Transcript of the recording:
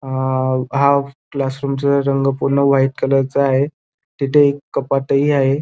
अ हा क्लासरूम चा रंग पूर्ण व्हाइट कलर चा आहे तिथे एक कपाटही आहे.